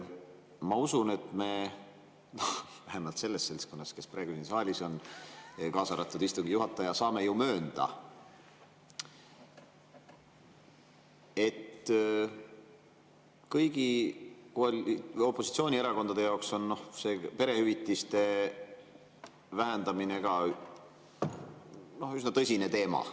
Ma usun, et meie, vähemalt see seltskond, kes praegu siin saalis on, kaasa arvatud istungi juhataja, saame ju möönda, et kõigi opositsioonierakondade jaoks on perehüvitiste vähendamine üsna tõsine teema.